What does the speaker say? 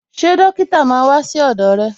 Ṣé dókítà máa wà sí ọdọ rẹ̀